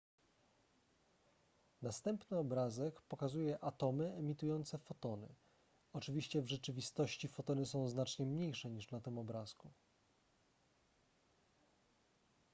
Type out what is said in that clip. następny obrazek pokazuje atomy emitujące fotony oczywiście w rzeczywistości fotony są znacznie mniejsze niż na tym obrazku